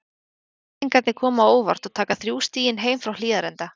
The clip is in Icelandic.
Breiðhyltingarnir koma á óvart og taka þrjú stigin heim frá Hlíðarenda.